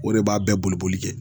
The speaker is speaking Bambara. O de b'a bɛɛ boli boli kɛ